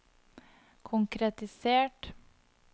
konkretisert